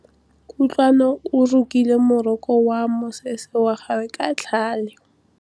Kutlwanô o rokile morokô wa mosese wa gagwe ka tlhale.